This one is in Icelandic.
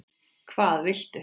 Hvað viltu?